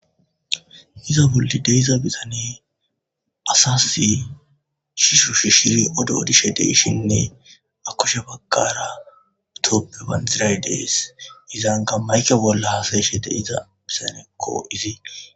Iza wuldide iza bizane asas shishu shi shiri odo odishe deyshinne akushe bakkara utoppe banxiray dees izanga mayke bolla hasayeshe de iza bisanekko izi.